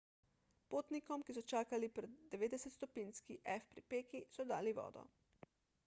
potnikom ki so čakali pri 90-stopinjski f pripeki so dali vodo